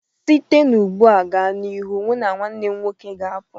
Site ugbu a gaa n'ihu, mụ na nwanne m nwoke ga-apụ